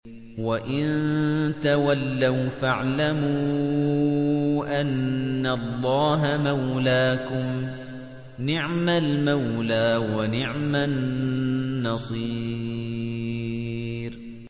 وَإِن تَوَلَّوْا فَاعْلَمُوا أَنَّ اللَّهَ مَوْلَاكُمْ ۚ نِعْمَ الْمَوْلَىٰ وَنِعْمَ النَّصِيرُ